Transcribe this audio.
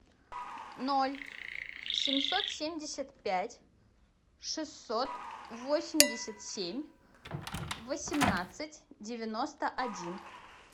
ноль семьсот семьдесят пять шестьсот восемьдесят семь восемнадцать девяносто один